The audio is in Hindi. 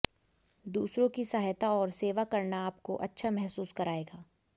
दूसरों की सहायता और सेवा करना आपको अच्छा महसूस कराएगा